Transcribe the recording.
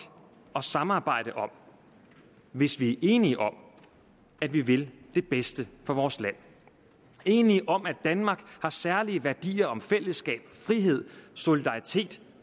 at samarbejde om hvis vi er enige om at vi vil det bedste for vores land enige om at danmark har særlige værdier om fællesskab frihed solidaritet